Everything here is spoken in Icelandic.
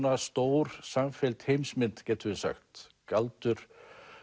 stór samfelld heimsmynd getum við sagt galdur